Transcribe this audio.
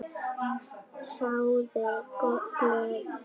Þáði glöð.